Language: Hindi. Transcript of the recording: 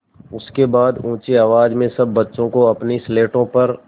उसके बाद ऊँची आवाज़ में सब बच्चों को अपनी स्लेटों पर